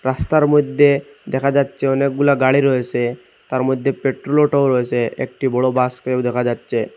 রাস্তার মইধ্যে দেখা যাচ্ছে অনেকগুলা গাড়ি রয়েসে তার মধ্যে পেট্রোল অটোও রয়েসে একটি বড় বাসকেও দেখা যাচ্ছে।